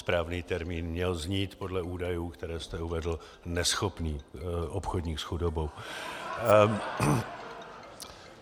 Správný termín měl znít podle údajů, které jste uvedl, neschopný obchodník s chudobou.